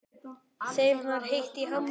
Þeim var heitt í hamsi.